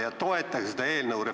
Ja toetage seda eelnõu!